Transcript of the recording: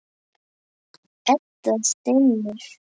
Edda stynur.